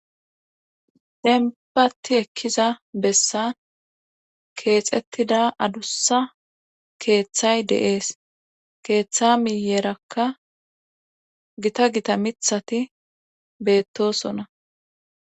denbati ekkiza bessan keexettida adussa keeththay deees keeththa miyeerakka gita gita mithati beettosona